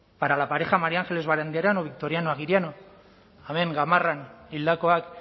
para la pareja maría ángeles barandiaran o victoriano aguiriano hemen gamarran hildakoak